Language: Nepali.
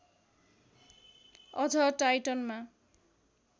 अझ टाइटनमा